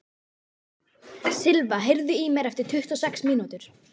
Silva, heyrðu í mér eftir tuttugu og sex mínútur.